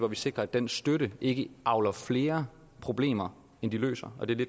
vi sikrer at den støtte ikke avler flere problemer end den løser